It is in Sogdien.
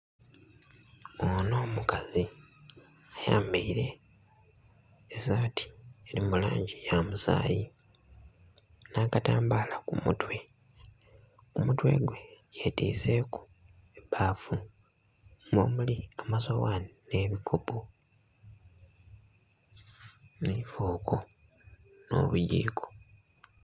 Ono mukazi ayambaire esaati eli mu langi ya musayi nh'akatambaala ku mutwe. Ku mutwe gwe yetiiseku ebbafu omuli amasoghani nh'ebikopo, nhi fooko, nh'obugiiko.